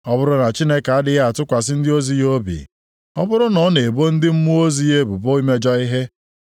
Ọ bụrụ na Chineke adịghị atụkwasị ndị ozi ya obi, ọ bụrụ na ọ na-ebo ndị mmụọ ozi ya ebubo imejọ ihe,